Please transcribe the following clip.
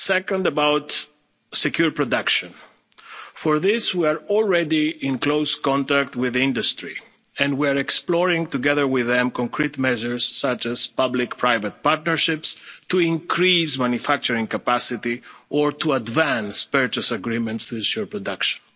actions. Second, regarding secure production, we are already in close contact with industry and we are exploring together with them concrete measures such as public private partnerships to increase manufacturing capacity or to advance purchase agreements to ensure